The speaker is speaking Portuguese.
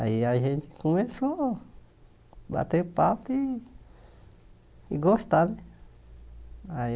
Aí a gente começou a bater papo e gostar, né? Aí